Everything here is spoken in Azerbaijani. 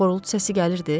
Xorultu səsi gəlirdi?